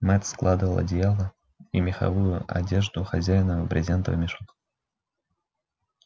мэтт складывал одеяла и меховую одежду хозяина в брезентовый мешок